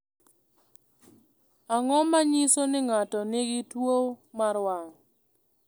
Ang’o ma nyiso ni ng’ato nigi tuwo mar wang’?